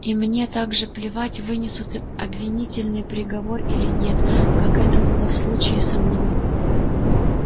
и мне так же плевать вынесут им обвинительный приговор или нет как это было в случае со мной